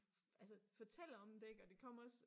Altså fortæller om det ik og det kom også